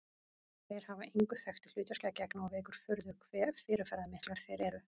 Þeir hafa engu þekktu hlutverki að gegna og vekur furðu hve fyrirferðarmiklir þeir eru.